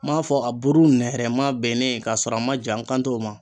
M'a fɔ a buru nɛrɛma bennen kasɔrɔ a ma ja n kan t'o ma.